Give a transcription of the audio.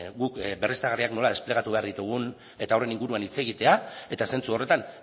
guk berriztagarriak nola desplegatu behar ditugun eta horren inguruan hitz egitea eta zentzu horretan